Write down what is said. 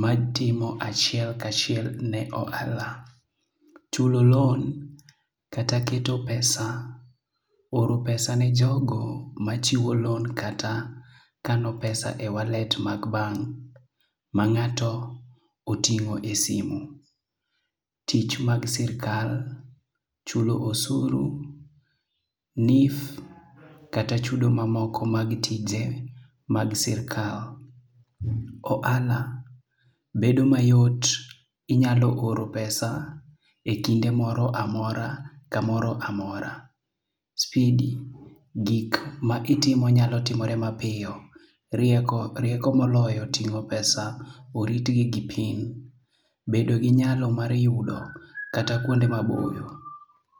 majtimo achiel kachiel ne ohala. Chulo loan kata keto pesa oro pesa ne jogo machiwo loan kata kano pesa e wallet mag bank ma ng'ato oting'o e simu. Tich mag sirkal chulogo osuru, NHIF, kata chudo mamoko mag tije mag sirkal. Ohala bedo mayot, inyalo oro pesa e kinde moro amora kamoro amora. Spidi, gik ma itimo nyalo timore mapiyo rieko moloyo ting'o pesa, oritgi gi PIN. Bedo gi nyalo mar yudo kata kuonde maboyo.